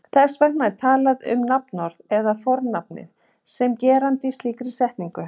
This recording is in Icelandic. Þess vegna er talað um nafnorðið eða fornafnið sem geranda í slíkri setningu.